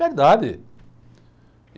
Verdade.